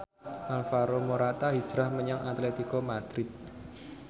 Alvaro Morata hijrah menyang Atletico Madrid